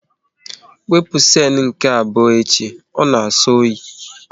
Wepụ siene nke abụọ echi, ọ na na-asọ oyi!